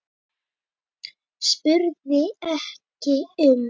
spurði ekki um